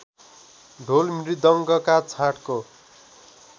ढोल मृदङ्गका छाँटको